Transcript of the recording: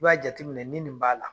I b'a jateminɛ ni nin b'a la